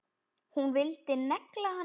Hún vildi negla hann!